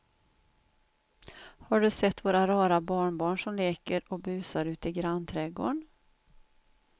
Har du sett våra rara barnbarn som leker och busar ute i grannträdgården!